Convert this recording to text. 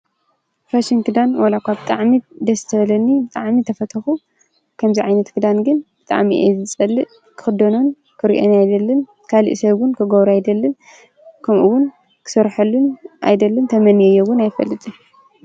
ፋሽንግዳን ወላዕኳ ብ ጥዕሚት ደስተለኒ ብጥዓሚ ተፈተኹ ከምዚይ ዓይነት ግዳን ግን ብጥዕሚእ ዝዝጸልእ ክኽዶኖን ክርእኤን ኣይደልን ካልእ ሰውን ክጐብሩ ኣይደልን ከምኡውን ክሠርሐሉን ኣይደልን ተመን የየውን ኣይፈልጥ።